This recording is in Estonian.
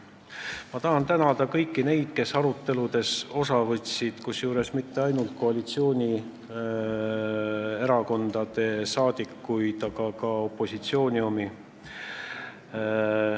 Ma tahan tänada ka kõiki neid, kes aruteludest osa võtsid, kusjuures mitte ainult koalitsioonierakondade saadikuid, vaid ka opositsiooni omi.